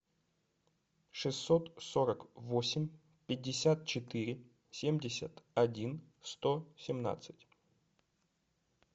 шестьсот сорок восемь пятьдесят четыре семьдесят один сто семнадцать